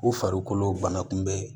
U farikolo banakunbɛ